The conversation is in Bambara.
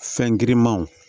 Fɛn girinmanw